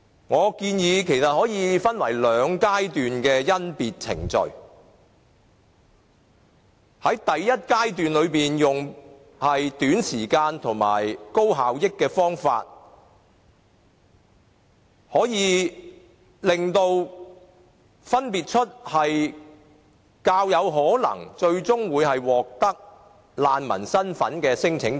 我建議甄別程序可以分為兩階段，在第一階段用短時間及高效益的方法，分別出較有可能最終獲得難民身份的聲請者。